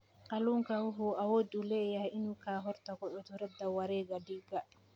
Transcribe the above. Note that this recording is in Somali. Kalluunku wuxuu awood u leeyahay inuu ka hortago cudurrada wareegga dhiigga.